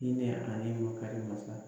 Hinɛ ani makari mansa